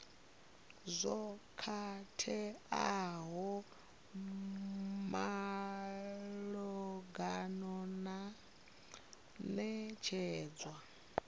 zwo khakheaho malugana na netshedzo